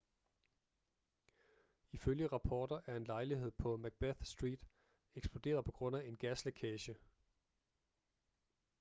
ifølge rapporter er en lejlighed på macbeth street eksploderet på grund af gaslækage